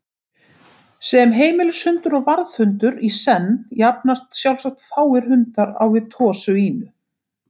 Sem heimilishundur og varðhundur í senn jafnast sjálfsagt fáir hundar á við Tosa Inu.